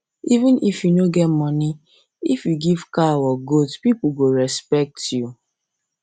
even if you no get money if you give cow or goat people go respect you